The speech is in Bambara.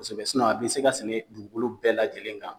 Kosɛbɛ sinɔn a be se ka sɛnɛ dugukolo bɛɛ la lajɛlen kan